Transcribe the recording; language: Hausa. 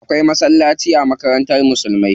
Akwai masallaci a makarantar musulmai.